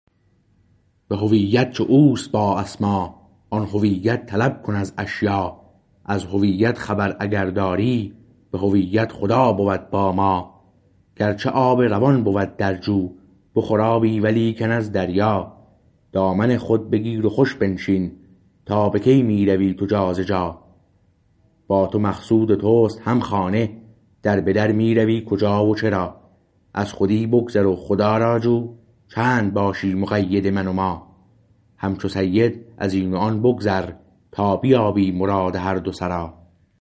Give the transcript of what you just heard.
به هویت چو اوست با اسما آن هویت طلب کن از اشیا از هویت خبر اگر داری به هویت خدا بود با ما گرچه آب روان بود در جو بخور آبی ولیکن از دریا دامن خود بگیر و خوش بنشین تا به کی می روی تو جا ز جا با تو مقصود تو است هم خانه در به در می روی کجا و چرا از خودی بگذر و خدا را جو چند باشی مقید من و ما همچو سید از این و آن بگذر تا بیابی مراد هر دو سرا